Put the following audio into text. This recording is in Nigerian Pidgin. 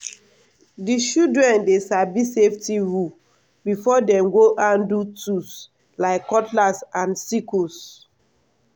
the children dey sabi safety rule before dem go handle tools like cutlass and sickles.